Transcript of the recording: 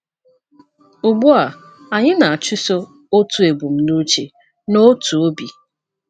Ugbu a anyị na - achụso otu ebumnuche n’otu obi.”